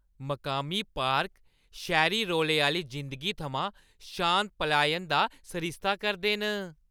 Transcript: मकामी पार्क शैह्‌री रौले आह्‌ली जिंदगी थमां शांत पलायन दा सरिस्ता करदे न।